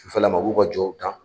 Sufɛlama u b'u ka jɔw dan